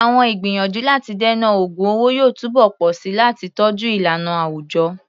Àwọn ìgbìyànjú láti dènà ògun owó yóò túbọ̀ pọ̀ sí i láti tọ́jú ìlànà àwùjọ.